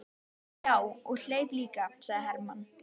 Já, og hleyp líka, sagði Hermann.